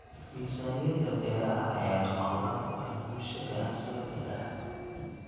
Miisaaniyadda Beeraha ayaa lama huraan u ah guusha ganacsiga beeraha.